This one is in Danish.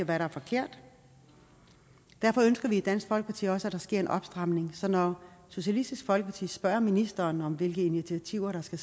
hvad der er forkert derfor ønsker vi i dansk folkeparti også at der sker en opstramning så når socialistisk folkeparti spørger ministeren om hvilke initiativer der skal